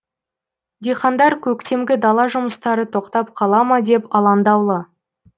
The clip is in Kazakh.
диқандар көктемгі дала жұмыстары тоқтап қала ма деп алаңдаулы